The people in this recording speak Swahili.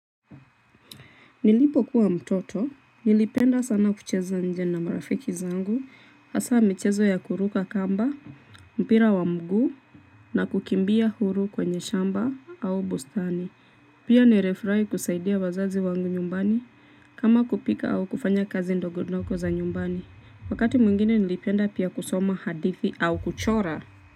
Nilipokuwa mtoto, nilipenda sana kucheza nje na marafiki zangu, hasa michezo ya kuruka kamba, mpira wa mguu, na kukimbia huru kwenye shamba au bustani. Pia nirifurahi kusaidia wazazi wangu nyumbani, kama kupika au kufanya kazi ndogondogo za nyumbani. Wakati mwingine nilipenda pia kusoma hadithi au kuchora.